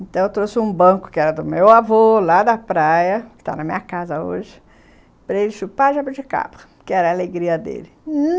Então eu trouxe um banco, que era do meu avô, lá da praia, que está na minha casa hoje, para ele chupar jabuticaba, que era a alegria dele.